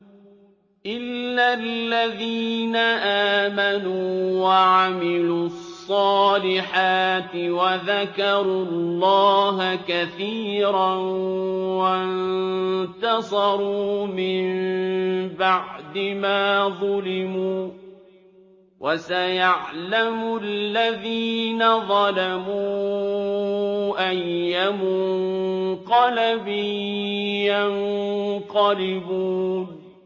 إِلَّا الَّذِينَ آمَنُوا وَعَمِلُوا الصَّالِحَاتِ وَذَكَرُوا اللَّهَ كَثِيرًا وَانتَصَرُوا مِن بَعْدِ مَا ظُلِمُوا ۗ وَسَيَعْلَمُ الَّذِينَ ظَلَمُوا أَيَّ مُنقَلَبٍ يَنقَلِبُونَ